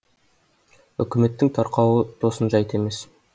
үкіметтің тарқауы тосын жайт емес